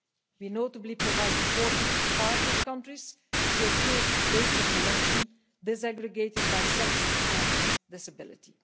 We notably provide support to partner countries to improve data collection disaggregated by sex and disability.